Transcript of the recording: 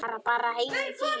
Fara bara heim í fýlu?